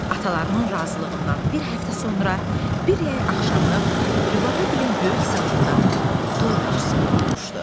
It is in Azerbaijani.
Atalarının razılığından bir həftə sonra bir yey axşamı Rübabəgilin böyük salonunda toy məclisi qurulmuşdu.